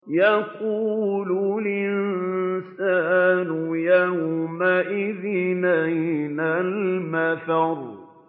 يَقُولُ الْإِنسَانُ يَوْمَئِذٍ أَيْنَ الْمَفَرُّ